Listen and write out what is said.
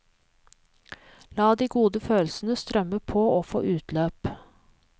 La de gode følelsen strømme på og få utløp.